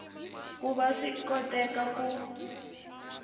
ku va swi koteka ku